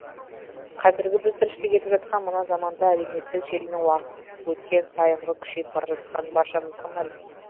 қазіргі біз тіршілік етіп жатқан мына заманда әлеуметтік желінің уақыт өткен сайынғы күшейіп бара жатқаны баршамызға мәлім